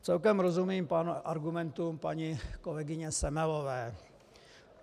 Celkem rozumím argumentům paní kolegyně Semelové.